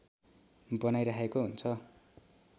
बनाइराखेको हुन्छ